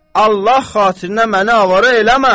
Allah xatirinə məni avara eləmə.